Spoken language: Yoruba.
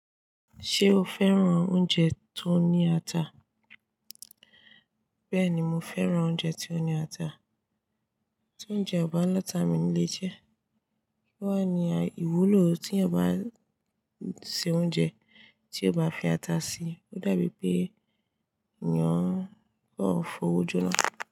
Ṣé o fẹ́ràn oúnjẹ tó ní ata? Bẹ́ẹ̀ni, mo fẹ́ràn oúnjẹ ti o ní ata. Tí óúnjẹ ọba lata mi o nílé jẹ. Kí wà ní ìwúlò tí ẹyan bá se oúnjẹ tí o bá fi ata sí i? Ó dàbí pé eyàn kan f'ówójọ́ na.